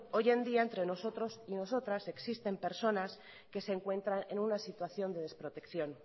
hoy en día entre nosotros y nosotras existen personas que se encuentran en una situación de desprotección